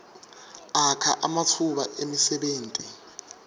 akha ematfuba emsebenti